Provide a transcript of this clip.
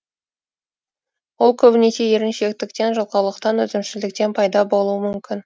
ол көбінесе еріншектіктен жалқаулықтан өзімшілдіктен пайда болуы мүмкін